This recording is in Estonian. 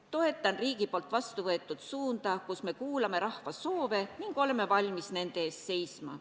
Toetan riigi poolt vastu võetud suunda, me kuulame rahva soove ning oleme valmis nende eest seisma.